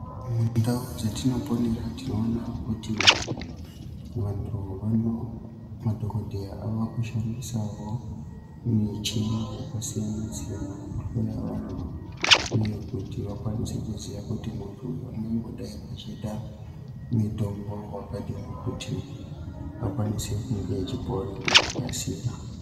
Mundau dzetinoponera tinoona kuti vantu vano, madhokodheya ava kushandisawo michini yakasiyana siyana yekuhloya vantu uye kuti vakwanise kuziya kuti muntu uyu unongodai achida mutombo wakadini kuti akwanise kunge achipora ngekukasira.